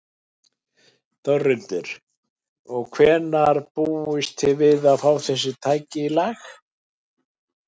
Þórhildur: Og hvenær búist þið við að fá þessi tæki í lag?